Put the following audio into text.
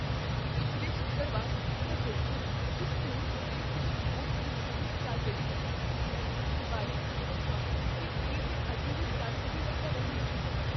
ਪਿਛਲੇ ਸ਼ੁੱਕਰਵਾਰ ਮੈਂ ਦੇਖਿਆ ਕੀ ਸਟੋਰ ਉੱਤੇ ਕੁੱਝ ਛੋਟ ਦੀ ਵਿਕਰੀ ਚੱਲ ਰਹੀ ਹੈ। ਮੈਂ ਵਿਕਰੀ ਬਾਰੇ ਚਿੰਤਤ ਹਾਂ ਕੀ ਕੀ ਇਹ ਅਜੇ ਵੀ ਚੱਲ ਰਹੀ ਹੈ ਜਾਂ ਨਹੀਂ।